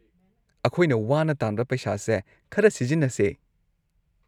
ꯑꯩꯈꯣꯏꯅ ꯋꯥꯅ ꯇꯥꯟꯕ ꯄꯩꯁꯥꯁꯦ ꯈꯔ ꯁꯤꯖꯤꯟꯅꯁꯦ꯫